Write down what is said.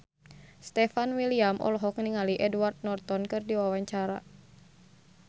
Stefan William olohok ningali Edward Norton keur diwawancara